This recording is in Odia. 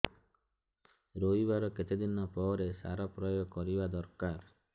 ରୋଈବା ର କେତେ ଦିନ ପରେ ସାର ପ୍ରୋୟାଗ କରିବା ଦରକାର